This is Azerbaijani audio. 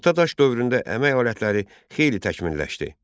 Orta daş dövründə əmək alətləri xeyli təkmilləşdi.